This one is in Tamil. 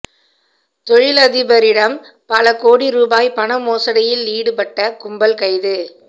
தொழிலதிபரிடம் பல கோடி ரூபாய் பண மோசடியில் ஈடுபட்ட கும்பல் கைது